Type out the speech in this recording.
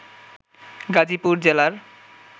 গাজীপুর জেলার